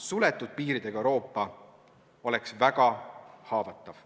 Suletud piiridega Euroopa oleks väga haavatav.